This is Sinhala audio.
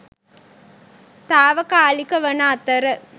තාවකාලික වන අතර